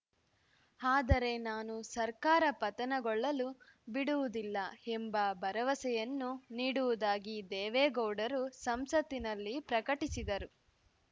ಆದರೆ ನಾನು ಸರ್ಕಾರ ಪತನಗೊಳ್ಳಲು ಬಿಡುವುದಿಲ್ಲ ಎಂಬ ಭರವಸೆಯನ್ನು ನೀಡುವುದಾಗಿ ದೇವೇಗೌಡರು ಸಂಸತ್ತಿನಲ್ಲಿ ಪ್ರಕಟಿಸಿದರು